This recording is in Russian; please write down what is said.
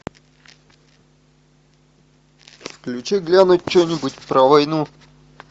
включи глянуть что нибудь про войну